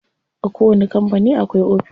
A kowani kampani akwai ofis.